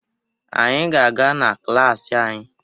Anyị ga-aga na klaasị anyị